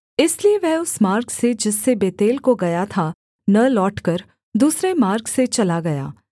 इसलिए वह उस मार्ग से जिससे बेतेल को गया था न लौटकर दूसरे मार्ग से चला गया